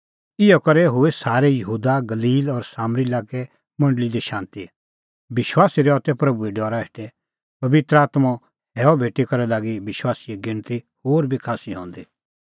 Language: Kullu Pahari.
इहअ करै हुई सारै यहूदा गलील और सामरी लाक्कै मंडल़ी दी शांती विश्वासी रहा तै प्रभूए डरा हेठै पबित्र आत्मों हैअ भेटी करै लागी विश्वासीए गिणती होर बी खास्सी हंदी